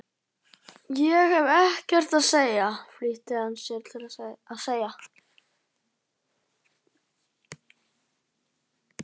Ég hef ekkert að segja flýtti hann sér að segja.